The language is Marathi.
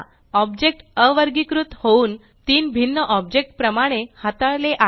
ऑब्जेक्ट अवर्गीकृत होऊन तीन भिन्न ऑब्जेक्ट प्रमाणे हाताळले आहे